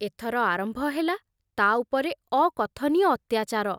ଏଥର ଆରମ୍ଭ ହେଲା ତା ଉପରେ ଅକଥନୀୟ ଅତ୍ୟାଚାର।